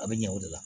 A bɛ ɲɛ o de la